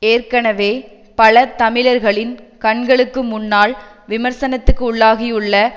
ஏற்கனவே பல தமிழர்களின் கண்களுக்கு முன்னால் விமர்சனத்துக்குள்ளாகியுள்ள